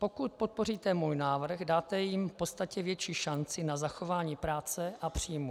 Pokud podpoříte můj návrh, dáte jim v podstatě větší šanci na zachování práce a příjmu.